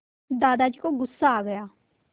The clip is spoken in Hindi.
दादाजी को गुस्सा आ गया